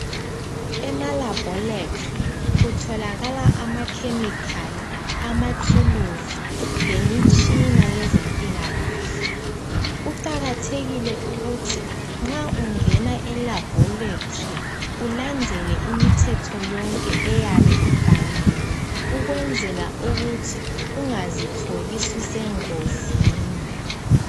EmaLaboratory kutholakala ama chemical, amathuluzi lemitshina yezempilakahle. Kuqakathekile ukuthi nxa ungena eLaboratory ulandele imithetho yonke eyabe ibhaliwe ukuzwenzela ukuthi ungazitholi ususengozini.